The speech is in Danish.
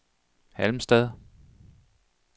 Halmstad